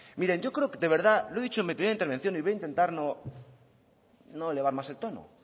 miren yo creo de verdad lo he dicho en mi primera intervención y voy a intentar no elevar más el tono